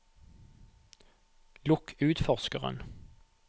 lukk utforskeren